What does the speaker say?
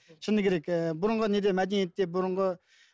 шыны керек ііі бұрынғы неде мәдениетте бұрынғы